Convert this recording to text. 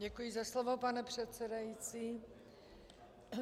Děkuji za slovo, pane předsedající.